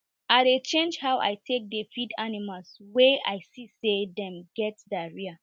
i dey change how i take dey feed animals wey i see say dem get diarrhoea